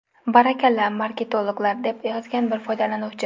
Barakalla, marketologlar!”, deb yozgan bir foydalanuvchi.